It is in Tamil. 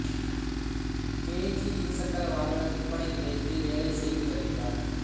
கே ஜி இருசக்கர வாகன விற்பனை நிலையத்தில் வேலை செய்து வருகிறார்